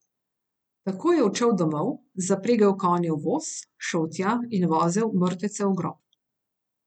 Takoj je odšel domov, zapregel konje v voz, šel tja in vozil mrtvece v grob.